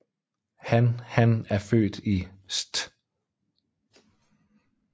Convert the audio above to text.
Han Han er født i St